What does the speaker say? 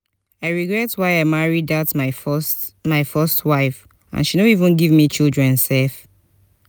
i regret why i marry dat my first my first wife and she no even give me children sef